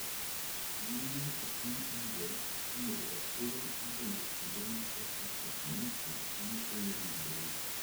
Mine epiny India noyudo ratiro mar donje kuonde moko kaka kanisa mane okoyienegi donjo e.